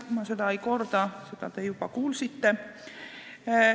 Ma seda ei korda, seda te juba kuulsite.